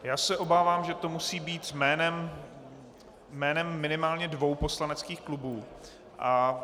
Já se obávám, že to musí být jménem minimálně dvou poslaneckých klubů...